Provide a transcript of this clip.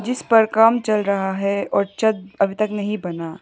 इस पर काम चल रहा है और अभी तक नहीं बना।